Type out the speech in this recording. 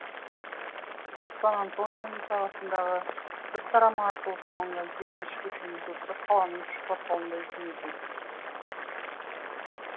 сан антонионың сағасындағы бір тарамы арқылы салынған сегізінші көшенің көпірі қаланың үш кварталындай ұзын екен